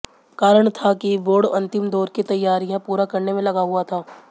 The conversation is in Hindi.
कारण था कि बोर्ड अंतिम दौर की तैयारियां पूरा करने में लगा हुआ था